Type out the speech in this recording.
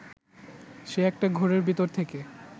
সে একটা ঘোরের ভেতর থেকে